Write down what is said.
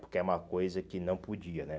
Porque é uma coisa que não podia, né?